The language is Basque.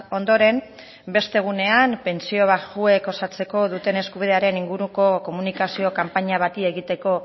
ondoren beste egunean pentsio baxuek osatzeko duten eskubidearen inguruko komunikazio kanpaina bati egiteko